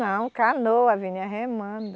Não, canoa, vinha remando.